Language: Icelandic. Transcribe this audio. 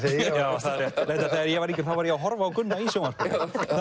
reyndar þegar ég var yngri var ég að horfa á Gunnar í sjónvarpinu